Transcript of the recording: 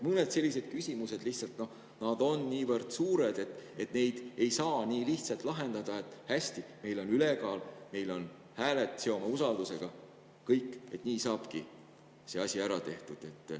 Mõned sellised küsimused on niivõrd suured, et neid ei saa lahendada nii lihtsalt, et hästi, meil on ülekaal, meil on hääletus, seome kõik usaldus ja nii saabki see asi ära tehtud.